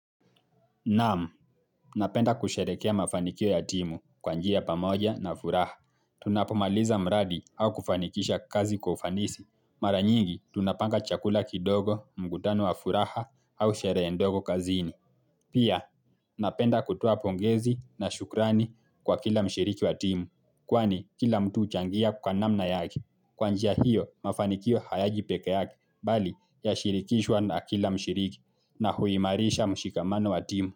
Naam, napenda kusherehekea mafanikio ya timu kwa njia ya pamoja na furaha. Tunapomaliza mradi au kufanikisha kazi kwa ufanisi. Mara nyingi, tunapanga chakula kidogo, mkutano wa furaha au sherehe ndogo kazini. Pia, napenda kutoa pongezi na shukrani kwa kila mshiriki wa timu. Kwani, kila mtu huchangia kwa namna yake. Kwa njia hiyo, mafanikio hayaji pekeake. Bali, yashirikishwa na kila mshiriki na huimarisha mshikamano wa timu.